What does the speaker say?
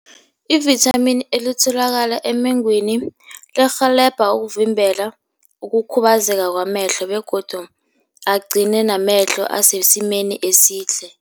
Ivithamini elitholakala emengweni lirhelebha ukuvimbela ukukhubazeka kwamehlo begodu agcine namehlo asesimeni esihle.